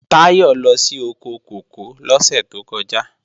Táyọ̀ lọ sí oko kòkó lọ́sẹ̀ tó kọjá